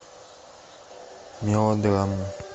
мелодрама